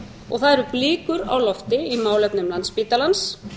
og það eru blikur á lofti í málefnum landspítalans